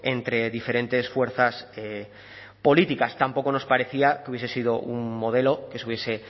entre diferentes fuerzas políticas tampoco nos parecía que hubiese sido un modelo que se hubiese